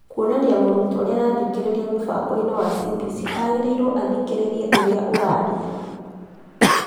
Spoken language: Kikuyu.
Kwonania mũrutwo niarathikiriria mũbango inĩ wa CBC agĩrĩirwo athikĩrrĩrie ũrĩa ũraria